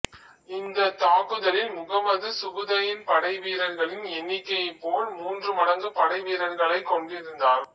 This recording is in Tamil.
இந்த தாக்குதலில் முகமது சுபுதையின் படை வீரர்களின் எண்ணிக்கையை போல் மூன்று மடங்கு படைவீரர்களை கொண்டிருந்தார்